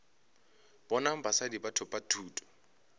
bonang basadi ba thopa thuto